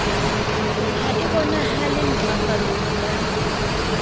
ha e bonahale ntlafalong ya